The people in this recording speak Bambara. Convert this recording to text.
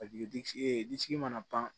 Paseke digi e disi mana ban